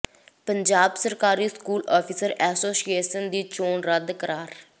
ਪੰਜਾਬ ਸਰਕਾਰੀ school officer association ਦੀ ਚੋਣ ਰੱਦ ਕਰਾਰ